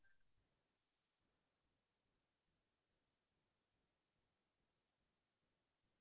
অ সেইখিনিত তো আমাৰ সকলোৰে কাৰনে বহুত কথিন সময় এটা পাৰ হৈ গ'ল